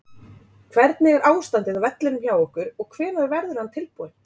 Hvernig er ástandið á vellinum hjá ykkur og hvenær verður hann tilbúinn?